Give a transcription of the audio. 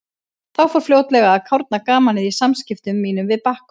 Þá fór fljótlega að kárna gamanið í samskiptum mínum við Bakkus.